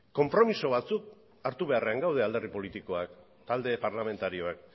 konpromiso batzuk hartu beharrean gaude alderdi politikoak talde parlamentarioak